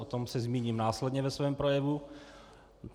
O tom se zmíním následně ve svém projevu.